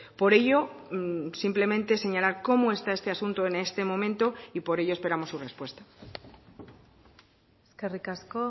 por ello simplemente señalar cómo está este asunto en este momento y por ello esperamos su respuesta eskerrik asko